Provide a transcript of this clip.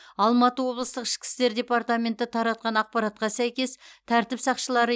алматы облыстық ішкі істер департаменті таратқан ақпаратқа сәйкес тәртіп сақшылары